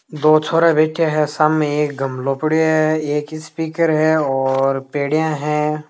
दो छोरा बैठ्या है शामे एक गमलो पड़यो है एक स्पीकर है और पेड़िया है।